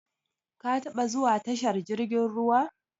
Ka taɓa zuwa tashar jirkin ruwa?